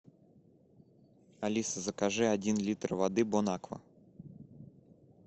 алиса закажи один литр воды бонаква